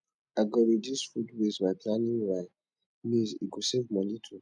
i go reduce food waste by planning my meals e go save money too